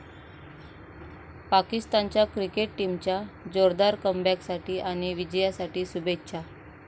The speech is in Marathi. पाकिस्तानच्या क्रिकेट टीमच्या जोरदार कमबॅकसाठी आणि विजयासाठी शुभेच्छा.